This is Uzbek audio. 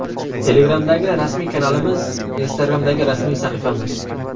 Telegramdagi rasmiy kanalimiz: Instagramdagi rasmiy sahifamiz: .